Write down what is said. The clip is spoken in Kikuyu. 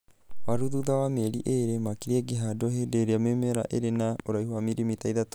Waru thutha wa mĩeri ĩĩrĩ, makĩria ingĩhandwo hĩndĩ ĩrĩa mĩmera ĩrĩ na ũraihu wa milimeteri 3.